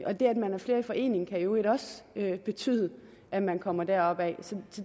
og det at man er flere i forening kan i øvrigt også betyde at man kommer deropad